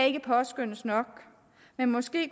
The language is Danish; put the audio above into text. ikke påskønnes nok men måske